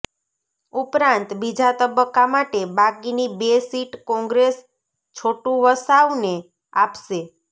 ઉપરાંત બીજા તબક્કા માટે બાકીની બે સીટ કોંગ્રેસ છોટુવસાવને આપશે